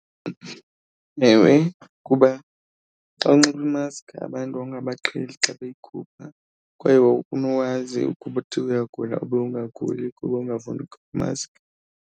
Ewe, kuba xa unxiba uba imaskhi abantu wawungabaqheli xa beyikhupha. Kwaye wawufuna uwazi ukuthi uyagula ube ungaguli kuba ungafuni ukhupha imaskhi.